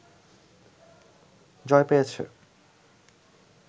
জয় পেয়েছে